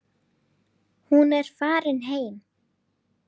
Hún er farin heim.